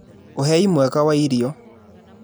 ũhei mwega wa irio.